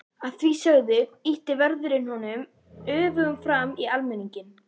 Að því sögðu ýtti vörðurinn honum öfugum fram í almenninginn.